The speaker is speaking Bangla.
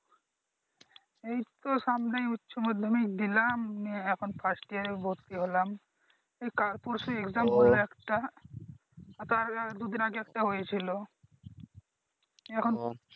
এইতো সামনে উচ্চ মাধ্যমিক দিলাম এখন First year এ ভর্তি হলাম এই কাল পরশু Exam হলো একটা তার দুই দিন আগে একটা হয়েছিলো এখন